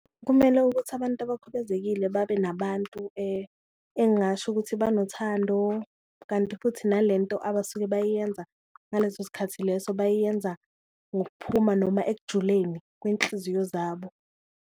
Kumele ukuthi abantu abakhubezekile babe nabantu engasho ukuthi banothando, kanti futhi nalento abasuke bayiyenza ngaleso sikhathi leso bayiyenza ngokuphuma noma ekujuleni kwenhliziyo zabo.